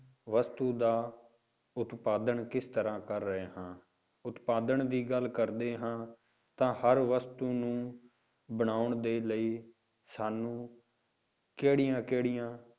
ਵਸਤੂ ਦਾ ਉਤਪਾਦਨ ਕਿਸ ਤਰ੍ਹਾਂ ਕਰ ਰਹੇ ਹਾਂ ਉਤਪਾਦਨ ਦੀ ਗੱਲ ਕਰਦੇ ਹਾਂ ਤਾਂ ਹਰ ਵਸਤੂ ਨੂੰ ਬਣਾਉਣ ਦੇ ਲਈ ਸਾਨੂੰ ਕਿਹੜੀਆਂ ਕਿਹੜੀਆਂ